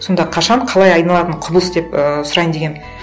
сонда қашан қалай айналатын құбылыс деп і сұрайын дегенмін